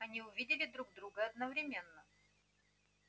они увидели друг друга одновременно